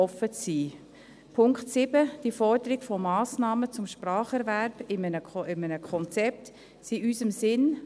Der Punkt 7, die Forderung von Massnahmen zum Spracherwerb in einem Konzept, ist in unserem Sinn.